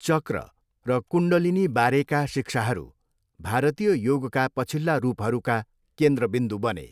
चक्र र कुण्डलिनीबारेका शिक्षाहरू भारतीय योगका पछिल्ला रूपहरूका केन्द्रबिन्दु बने।